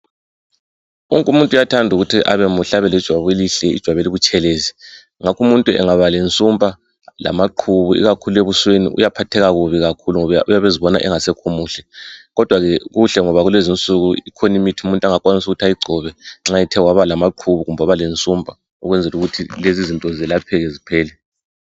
Wonke umuthu uyathanda ukuthi abemuhle abe lejwabu elihle ijwabu elibutshelezi ngakho umuntu angaba lensumpa lamaqhubu ikakhulu ebusweni uyaphatheka kubi kakhulu ngoba uyabezibona engasekho muhle. Kodwa ke kuhle kulezinsuku ikhona imithi umuntu angakwanisa ukuthi ayigcobe nxa ethe waba lamaqhubu lensumpa ukwenzela ukuthi lezizinto zelapheke ziphele.